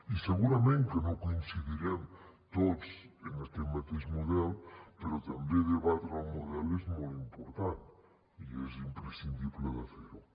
i segurament que no coincidirem tots en aquest mateix model però també debatre el model és molt important i és imprescindible de fer ho